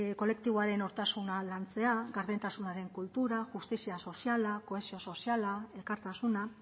kolektiboaren nortasuna lantzea gardentasunaren kultura justizia soziala kohesio soziala elkartasuna